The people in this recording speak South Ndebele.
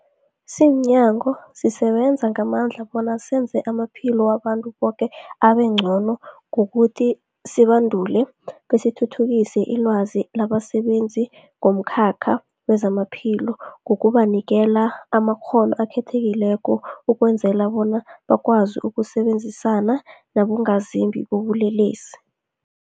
Simnyango, sisebenza ngamandla bona senze amaphilo wabantu boke abengcono ngokuthi sibandule besithuthukise ilwazi labasebenzi bomkhakha wezamaphilo ngokubanikela amakghono akhethekileko ukwenzela bona bakwazi ukusebenzisana nabongazimbi bobulelesi.